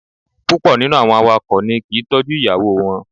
Púpọ̀ nínú àwọn awakọ̀ ni kì í tọ́jú ìyàwó wọn.